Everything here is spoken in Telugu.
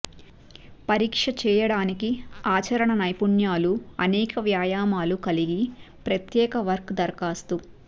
పరీక్ష చేయడానికి ఆచరణ నైపుణ్యాలు అనేక వ్యాయామాలు కలిగి ప్రత్యేక వర్క్ దరఖాస్తు